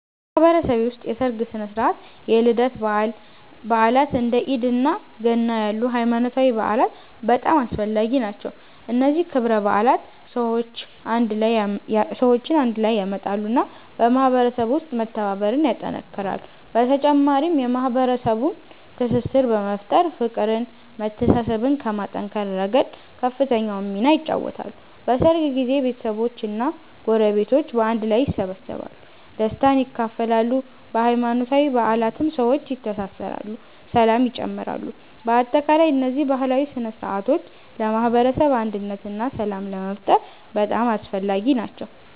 በማህበረሰቤ ውስጥ የሠርግ ሥነ ሥርዓት፣ የልደት በዓላት፣ እንደ ኢድ እና ገና ያሉ ሃይማኖታዊ በዓላት በጣም አስፈላጊ ናቸው። እነዚህ ክብረ በዓላት ሰዎችን አንድ ላይ ያመጣሉ እና በማህበረሰቡ ውስጥ መተባበርን ያጠናክራሉ። በተጨማሪም የማህበረሰቡን ትስስር በመፍጠር፤ ፍቅርን መተሳሰብን ከማጠናከር ረገድ ከፍተኛውን ሚና ይጫወታሉ። በሠርግ ጊዜ ቤተሰቦች እና ጎረቤቶች በአንድ ላይ ይሰበሰባሉ፣ ደስታን ይካፈላሉ። በሃይማኖታዊ በዓላትም ሰዎች ይተሳሰራሉ ሰላም ይጨምራሉ። በአጠቃላይ እነዚህ ባህላዊ ሥነ ሥርዓቶች ለማህበረሰብ አንድነት እና ሰላም ለመፍጠር በጣም አስፈላጊ ናቸው።